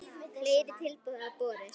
Fleiri tilboð hafa borist.